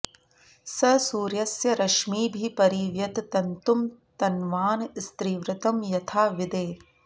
स सूर्यस्य रश्मिभिः परि व्यत तन्तुं तन्वानस्त्रिवृतं यथा विदे